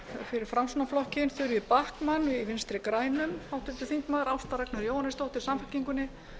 fyrir framsóknarflokkinn þuríður backman í vinstri grænum háttvirtur þingmaður ásta ragnheiður jóhannesdóttir samfylkingunni